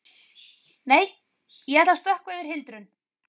Nei, ég ætla að stökkva yfir hindrun.